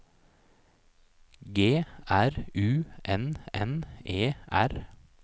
G R U N N E R